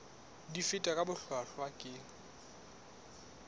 di fetwa ka bohlwahlwa ke